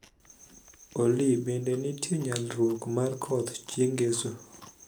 Olly bende nitie nyalruok mar koth chieng' ngeso